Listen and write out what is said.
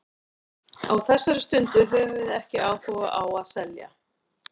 Á þessari stundu höfum við ekki áhuga á að selja.